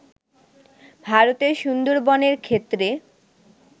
ভারতের সুন্দরবনের ক্ষেত্রে